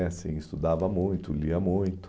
E assim Estudava muito, lia muito.